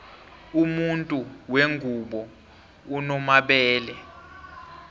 umuntu wengubo unomabele